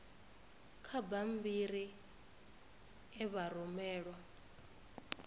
kha bammbiri e vha rumelwa